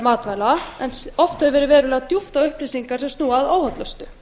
matvæla en oft hefur verið verulega djúpt á upplýsingar sem snúa að óhollustu